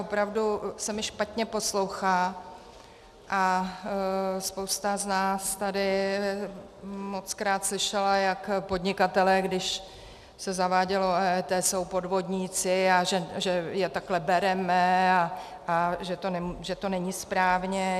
Opravdu se mi špatně poslouchá, a spousta z nás tady mockrát slyšela, jak podnikatelé, když se zavádělo EET, jsou podvodníci a že je takhle bereme a že to není správně.